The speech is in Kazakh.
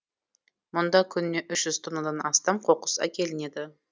мұнда күніне үш жүз тоннадан астам қоқыс әкелінеді